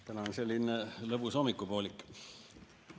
Täna on selline lõbus hommikupoolik.